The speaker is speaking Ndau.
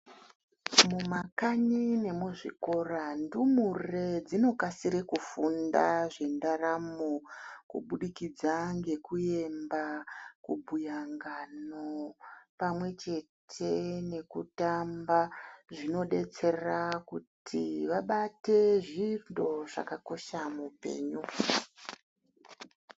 Mumakanyi nemuzvikora ndumure dzinokasire kufunda zvendaramo kubudikidza ngekuemba, kubhuya ngano, pamwechete nekutamba. Zvinodetsera kuti vabate zvintu zvakakosha muupenyu.